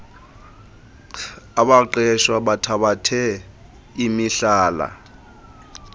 abaqeshwa bathabathe imihlala